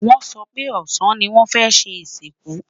wón so pé ọsán ní wón fẹ ṣé ìsìnkú